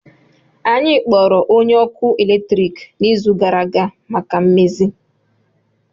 Anyị kpọrọ onye ọkụ eletrik n'izu gara aga maka mmezi